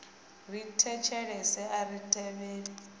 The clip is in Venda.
ri thetshelesi a ri tevheli